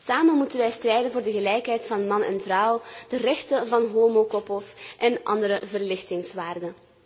Samen moeten wij strijden voor de gelijkheid van man en vrouw, de rechten van homokoppels en andere verlichtingswaarden.